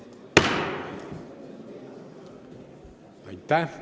Aitäh!